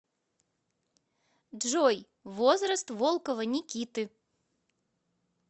джой возраст волкова никиты